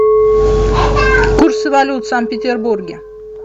курсы валют в санкт петербурге